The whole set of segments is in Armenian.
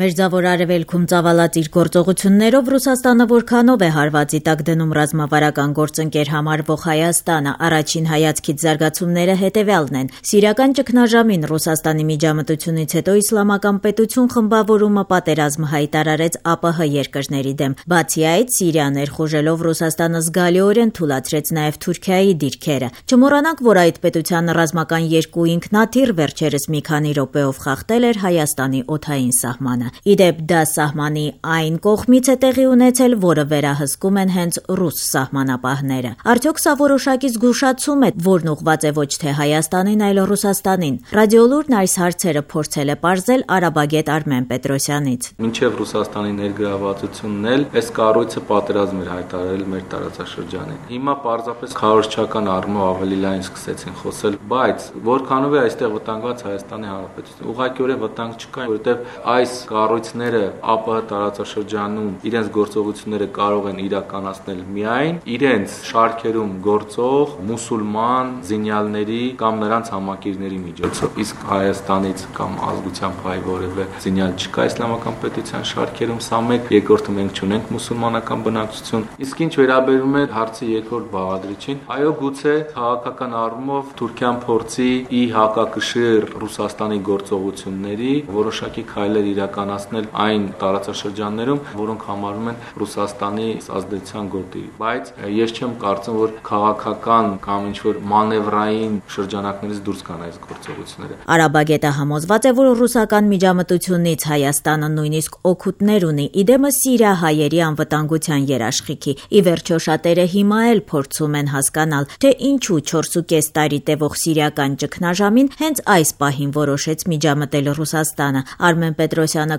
Մերձավոր Արեւելքում ծավալած իր գործողություններով որքանով է Ռուսաստանը հարվածի տակ դնում ռազմավարական գործընկեր համարվող Հայաստանին: Առաջին հայացքից զարգացումները հետեւյալն են. Սիրիական ճգնաժամին Ռուսաստանի միջամտությունից հետո «Իսլամական պետություն» խմբավորումը պատերազմ հայտարարեց ԱՊՀ երկրներին, բացի այդ՝ Սիրիա ներխուժելով՝ Ռուսաստանը զգալիորեն թուլացրեց նաեւ Թուրքիայի դիրքերը: Չմոռանանք, որ այդ պետության ռազմական երկու ինքնաթիռ վերջերս մի քանի րոպեով խախտել էր Հայաստանի օդային սահմանը: Ի դեպ՝ դա սահմանի այն կողմից է տեղի ունեցել, որը վերահսկում են հենց ռուս սահմանապահները: Արդյո՞ք սա որոշակի զգուշացում է, որն ուղղված է ոչ թե Հայաստանին, այլ՝ Ռուսաստանին: «Ռաիդիոլուրն» այս հարցերը փորձել է պարզել արաբագետ Արմեն Պետրոսյանից: «Մինչեւ Ռուսաստանի ներգրավվածությունն էլ այս կառույցը պատերազմ էր հայտարարել մեր տարածաշրջանին: Հիմա պարզապես քարոզչական պատճառներով սկսեցին ավելի լայն խոսել: Բայց որքանով է այստեղ վտանգված ՀՀ-ն: Ուղղակիորեն վտանգ չկա, որովհետեւ այս կառույցները ԱՊՀ տարածաշրջանում իրենց գործողությունները կարող են իրականացնել միայն իրենց շարքերում գործող մուսուլման զինյալների կամ նրանց համակիների միջոցով: Իսկ Հայաստանից կամ ազգությամբ հայ որեւէ զինյալ չկա «Իսլամական պետության» շարքերում, երկրորդը՝ մենք չունենք մուսուլմանական բնակչություն: Իսկ ինչ վերաբերում է հարցի երկրորդ բաղադրիչին, այո, գուցե քաղաքական առումով Թուրքիան փորձի ի հակակշիռ Ռուսաստանի գործողությունների որոշակի քայլեր իրականացնել այն տարածաշրջաններում, որոնք համարվում են Ռուսաստանի ազդեցության գոտի: Բայց ես չեմ կարծում, որ քաղաքական կամ ինչ- որ մանեւրային շրջանակներից դուրս գան այս գործողությունները»: Արաբագետը համոզված է, որ ռուսական միջամտությունից Հայաստանը նույնիսկ օգուտ ունի՝ ի դեմս սիրիահայերի անվտանգության երաշխիքի: Ի վերջո՝ շատերը հիմա էլ փորձում են հասկանալ, թե ինչու 4,5 տարի տեւող սիրիական ճգնաժամին հենց այս պահին որոշեց միջամտել Ռուսաստանը: Արմեն Պետրոսյանը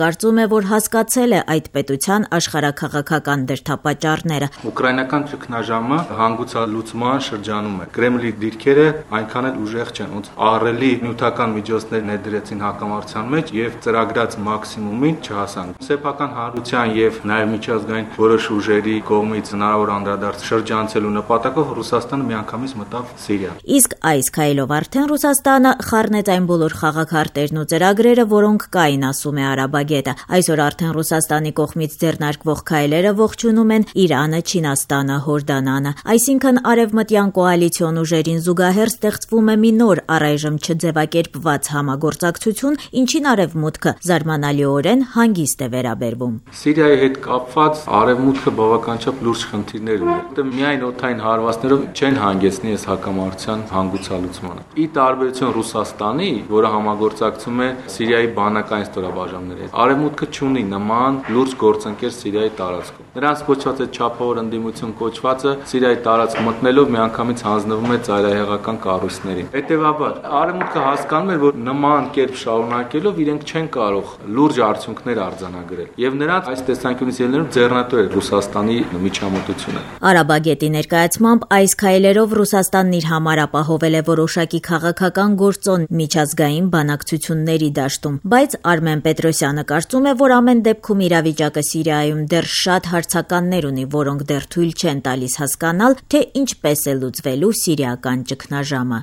կարծում է, որ հասկացել է այդ պետության աշխարհաքաղաքական դրդապատճառները: «Ուկրաինական ճգնաժամը հանգուցալուծման շրջանում է եւ այստեղ Կրեմլի դիրքերը այնքան էլ ուժեղ չեն: Ահռելի նյութական միջոցներ ներդրեցին հակամարտության մեջ եւ ծրագրած մաքսիմումին չհասան: Սեփական հանրության եւ միջազգային հանրության որոշ ուժերի կողմից հնարավոր անդրադարձըշրջանցելու նպատակով Ռուսաստանը միանգամից մտավ Սիրիա»,- ասում է։ Իսկ այս քայլով արդեն Ռուսաստանը խառնեց այն բոլոր խաղաքարտերն ու ծրագրերը, որոնք կային, ասում է արաբագետը: Այսօր արդեն Ռուսաստանի կողմից ձեռնարկվող քայլերը ողջունում են Իրանը, Չինաստանը, Հորդանանը: Այսինքն՝ արեւմտյան կոալիցիոն ուժերին զուգահեռ ստեղծվում է մի նոր՝ առայժմ չձեւակերպված համագործակցություն, ինչին Արեւմուտքը զարմանալիորեն հանգիստ է վերաբերվում: «Սիրիայի հետ կապված Արեւմուտքը բավականին լուրջ խնդիրներ ուներ, որովհետեւ միայն օդային հարվածներով չեն հանգեցնի այս հակամարտության հանգուցալուծմանը: Ի տարբերություն Ռուսաստանի, որը համագործակցում է Սիրիայի բանակային ստորաբաժանումների հետ, Արեւմուտքը չունի նման լուրջ գործընկեր Սիրիայի տարածքում: Նրանց կոչած «չափավոր ընդդիմություն» կոչվածը Սիրիայի տարածք մտնելով միանգամից հանձնվում է ծայրահեղական կառույցներին: Հետեւաբար՝ Արեւմուտքը հասկանում էր, որ նման կերպ շարունակելով իրենք չեն կարող լուրջ արդյունքներ արձանագրել: Եվ նրանց, այս տեսանկյունից ելնելով, ձեռնտու էր Ռուսաստանի միջամտությունը»։ Արաբագետի ներկայացմամբ՝ այս քայլերով Ռուսաստանն իր համար ապահովել է որոշակի քաղաքական գործոն միջազգային բանակցությունների դաշտում: Բայց Արմեն Պետրոսյանը կարծում է, որ ամեն դեպքում իրավիճակը Սիրիայում դեռ շատ հարցականներ ունի, որոնք դեռ թույլ չեն տալիս հասկանալու, թե ինչպես է լուծվելու սիրիական ճգնաժամը: